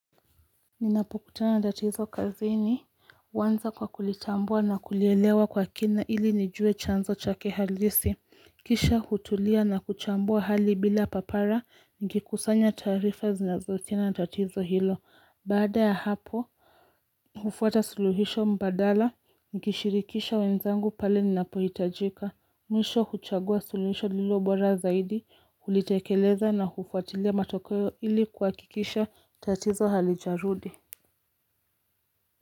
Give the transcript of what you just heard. Ninapukutana na tatizo kazini, huanza kwa kulitambua na kulielewa kwa kina ili nijue chanzo chake halisi, kisha hutulia na kuchambua hali bila papara, nikikusanya taarifa zinazohusiana na tatizo hilo, baada ya hapo hufuata suluhisho mbadala, nikishirikisha wenzangu pale ninapohitajika, mwisho huchagua suluhisho lililobora zaidi, hulitekeleza na hufuatilia matokeo ili kuhakikisha tatizo halijarudi.